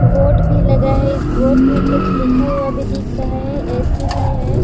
Board भी लगा है इस बोर्ड में कुछ लिखा हुआ भी दिख रहा है ए .सी भी है ।